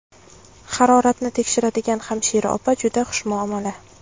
Haroratni tekshiradigan hamshira opa juda xushmuomala.